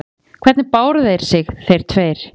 Logi: Hvernig báru þeir sig, þeir tveir?